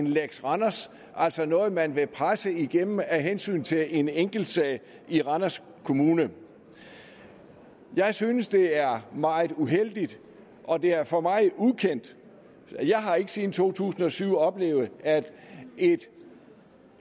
lex randers altså noget man vil presse igennem af hensyn til en enkeltsag i randers kommune jeg synes at det er meget uheldigt og det er for mig ukendt jeg har ikke siden to tusind og syv oplevet at et